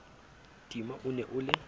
tima o ne o le